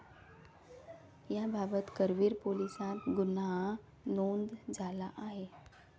याबाबत करवीर पोलिसात गुन्हा नोंद झाला आहे.